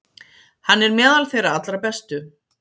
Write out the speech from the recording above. Hann er meðal þeirra allra bestu.